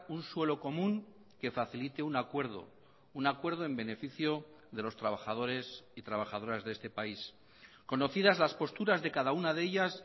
un suelo común que facilite un acuerdo un acuerdo en beneficio de los trabajadores y trabajadoras de este país conocidas las posturas de cada una de ellas